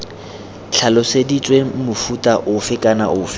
tlhaloseditswe mofuta ofe kana ofe